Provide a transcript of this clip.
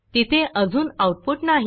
तिथे अजून आऊटपुट नाही